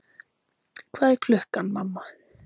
Hvað er klukkan, mamma?